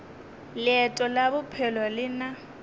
leeto la bophelo le na